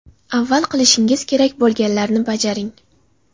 Avval qilishingiz kerak bo‘lganlarni bajaring.